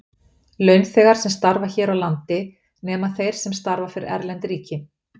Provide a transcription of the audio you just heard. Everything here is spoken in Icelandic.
Launþegar sem starfa hér á landi, nema þeir sem starfa fyrir erlend ríki.